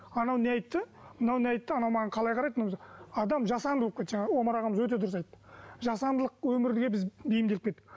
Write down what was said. анау не айтты мынау не айтты анау маған қалай қарайды адам жасанды болып кетті жаңа омар ағамыз өте дұрыс айтты жасандылық өмірге біз бейімделіп кеттік